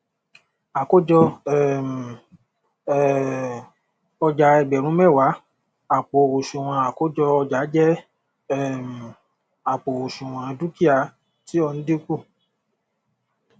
àkójọ um um ọjà ẹgbẹrun mẹwàá àpò òsùnwọn àkójọ ọjà jẹ um àpò òsùnwọn dúkìá tí o n dínkù